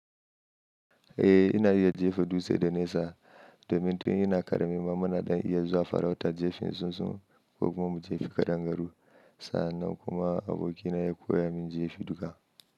Eh ina iya jefa dutse da nesa domin tun ina ƙarami ma muna dan iya zuwa farautan jefan tsuntsu ko kuma mu jefa kadangaru sannan kuma abokina ya koya min jefa duka.